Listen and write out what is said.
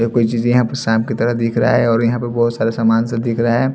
यह कोई चीज यहां पर सांप की तरह दिख रहा है और बहुत सारे सामान से दिख रहा हैं।